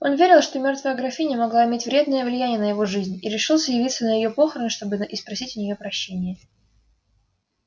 он верил что мёртвая графиня могла иметь вредное влияние на его жизнь и решился явиться на её похороны чтобы испросить у ней прощения